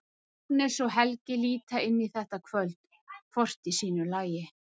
Agnes og Helgi líta inn þetta kvöld, hvort í sínu lagi.